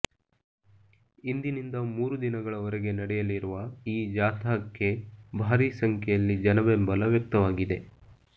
ಇಂದಿನಿಂದ ಮುರು ದಿನಗಳವರೆಗೆ ನಡೆಯಲಿರುವ ಈ ಜಾಥಾಕ್ಕೆ ಭಾರೀ ಸಂಖ್ಯೆಯಲ್ಲಿ ಜನಬೆಂಬಲ ವ್ಯಕ್ತವಾಗಿದೆ